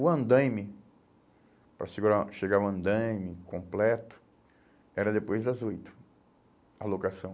O andaime, para segurar, chegar ao andaime completo, era depois das oito, a locação.